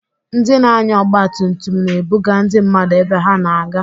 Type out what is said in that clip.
Ndị na-anya ọgba tum tum, na-ebuga ndị mmadụ ebe ha na-aga.